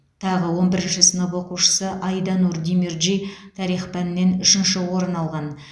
тағы он бірінші сынып оқушысы айданур демирджи тарих пәнінен үшінші орын алған